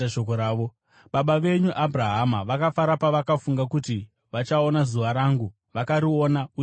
Baba venyu Abhurahama vakafara pavakafunga kuti vachaona zuva rangu; vakariona uye vakafara.”